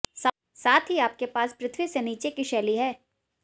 साथ ही आपके पास पृथ्वी से नीचे की शैली है